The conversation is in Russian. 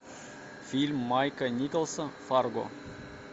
фильм майка николса фарго